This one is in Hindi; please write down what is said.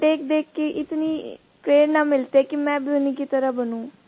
उन्हें देखदेख के इतनी प्रेरणा मिलती है कि मैं भी उन्हीं की तरह बनूँ